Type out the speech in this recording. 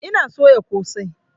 Ina soya ƙosai